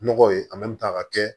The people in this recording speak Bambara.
Nɔgɔ ye ka kɛ